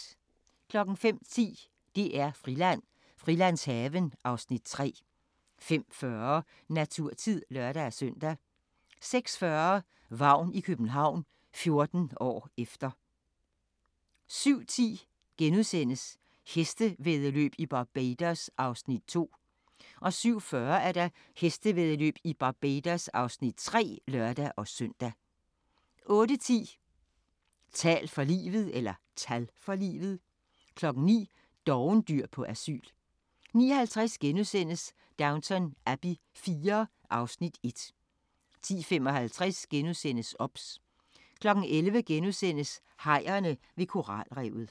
05:10: DR-Friland: Frilandshaven (Afs. 3) 05:40: Naturtid (lør-søn) 06:40: Vagn i København – 14 år efter 07:10: Hestevæddeløb i Barbados (Afs. 2)* 07:40: Hestevæddeløb i Barbados (Afs. 3)(lør-søn) 08:10: Tal for livet 09:00: Dovendyr på asyl 09:50: Downton Abbey IV (Afs. 1)* 10:55: OBS * 11:00: Hajerne ved koralrevet *